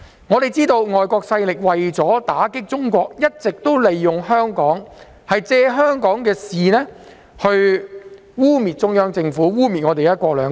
眾所周知，外國勢力為了打擊中國，一直利用香港及借香港事務污衊中央政府和"一國兩制"。